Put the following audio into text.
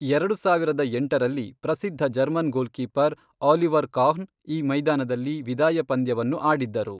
ಎರಡು ಸಾವಿರದ ಎಂಟರಲ್ಲಿ, ಪ್ರಸಿದ್ಧ German goalkeeper, Oliver Kahn, ಈ ಮೈದಾನದಲ್ಲಿ ವಿದಾಯ ಪಂದ್ಯವನ್ನು ಆಡಿದ್ದರು.